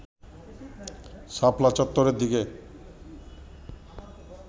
শাপলা চত্বরের দিকে